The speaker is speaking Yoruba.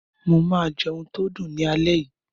Mo máa oúnje tó dùn ní alé yìí.